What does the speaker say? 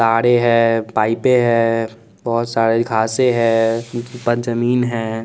तारे है पाईपे है बहुत सारे घासे है पास जमीन है।